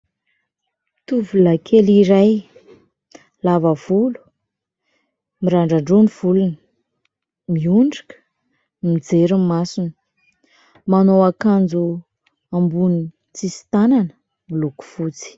Tovolahikely iray lava volo, mirandran-droa ny volony, miondrika, mijery ny masony, manao akanjo amboniny tsy misy tanana miloko fotsy.